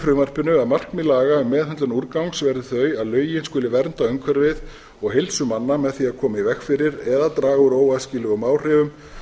frumvarpinu að markmið laga um meðhöndlun úrgangs verði þau að lögin skuli vernda umhverfið og heilsu manna með því að koma í veg fyrir eða draga úr óæskilegum áhrifum